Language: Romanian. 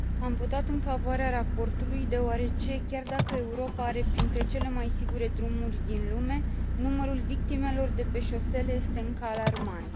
Am votat în favoarea raportului deoarece, chiar dacă Europa are printre cele mai sigure drumuri din lume, numărul victimelor de pe șosele este încă alarmant.